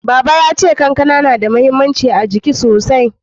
Baba ya ce kankana na da mahimmanci a jiki sosai